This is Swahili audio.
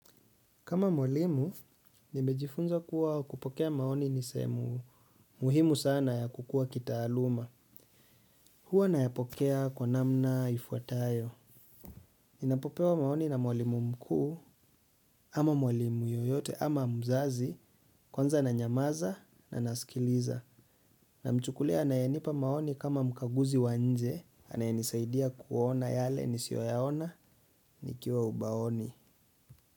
Kama mwalimu, nimejifunza kuwa kupokea maoni ni sehemu muhimu sana ya kukua kitaaluma. Hua nayapokea kwa namna ifuatayo. Ninapopewa maoni na mwalimu mkuu, ama mwalimu yoyote, ama mzazi, kwanza nanyamaza na nasikiliza. Namchukulia anayenipa maoni kama mkaguzi wa nje, anayenisaidia kuona yale nisioyaona, nikiwa ubaoni.